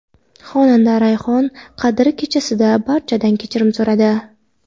Xonanda Rayhon Qadr kechasida barchadan kechirim so‘radi.